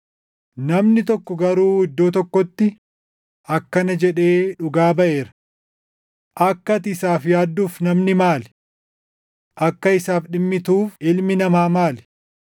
Namni tokko garuu iddoo tokkotti akkana jedhee dhugaa baʼeera; “Akka ati isaaf yaadduuf namni maali? Akka isaaf dhimmituuf ilmi namaa maali?